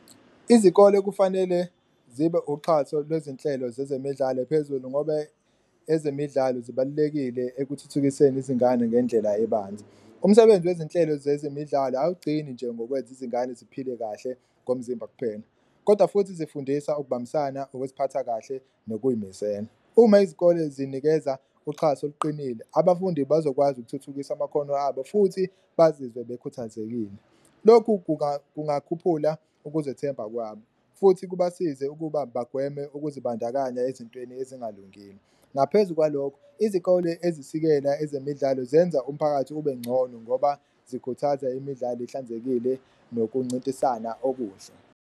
Izikole kufanele zibe uxhaso lwezinhlelo zezemidlalo phezulu ngobe ezemidlalo zibalulekile ekuthuthukiseni izingane ngendlela ebanzi, umsebenzi wezinhlelo zezemidlalo awugcini nje ngokwenza izingane ziphile kahle ngomzimba kuphela, kodwa futhi izifundisa ukubambisana, ukuziphatha kahle nokuyimisela. Uma izikole zinikeza uxhaso oluqinile abafundi bazokwazi ukuthuthukisa amakhono abo futhi bazizwe bekhuthazekile, lokhu kungakhuphula ukuzethemba kwabo futhi kubasize ukuba bagweme ukuzibandakanya ezintweni ezingalungile. Ngaphezu kwalokho, izikole ezisikela ezemidlalo zenza umphakathi ube ncono ngoba zikhuthaza imidlalo ihlanzekile nokuncintisana okuhle.